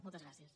moltes gràcies